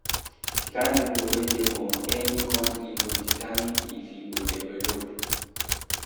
Di kind pipo wey dey for any country go determine if e go develop